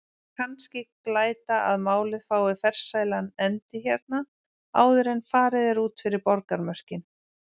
Kannski glæta að málið fái farsælan endi hérna- áður en farið er út fyrir borgarmörkin!